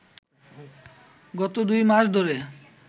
গত দুই মাস ধরে